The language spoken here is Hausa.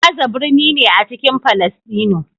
Gaza birni ne a cikin Falasɗinu.